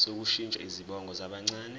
sokushintsha izibongo zabancane